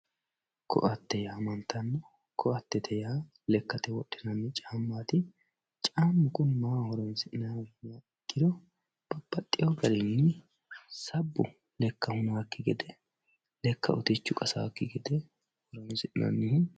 koatte yaamantanno koatte yaa lekkate wodhinanni caammati, caammu kuni maaho horonsi'nanniho yinummoha ikkiro babbaxewo garinni sabbu lekka hunannokki gede lekka utichu qasaakki gede horonsi'nanniho.